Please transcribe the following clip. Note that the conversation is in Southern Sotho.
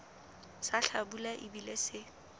sa hlabula e bile se